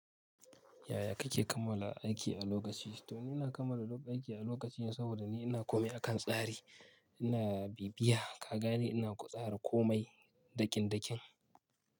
Yaya kake kammala aiki a lokaci? Tho muna kammala aiki a lokaci saboda ni ina komai akan tsari. Ina bibiya ka gane ina ƙwa tsarin komai daƙin-daƙin.